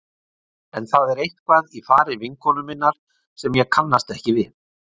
En það er eitthvað í fari vinkonu minnar sem ég kannast ekki við.